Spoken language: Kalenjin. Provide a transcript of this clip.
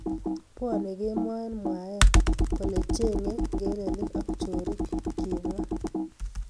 Bwonei kemoi eng mwaet kole chengei ngelelik ak chorik, kimwa